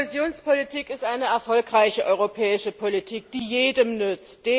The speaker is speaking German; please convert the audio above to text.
Die Kohäsionspolitik ist eine erfolgreiche europäische Politik, die jedem nützt.